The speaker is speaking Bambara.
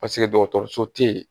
Paseke dɔgɔtɔrɔso tɛ yen